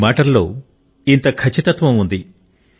మీ మాటలలో ఇంత ఖచ్చితత్వం ఉంది